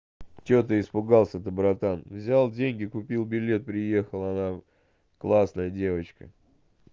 что ты испугался то братан взял деньги купил билет приехал она классная девочка